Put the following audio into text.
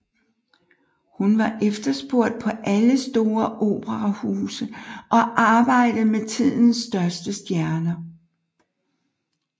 Hun var efterspurgt på alle store operahuse og arbejdede med tidens største stjerner